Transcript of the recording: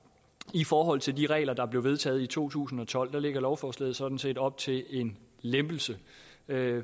i forhold til de regler der blev vedtaget i to tusind og tolv lægger lovforslaget sådan set op til en lempelse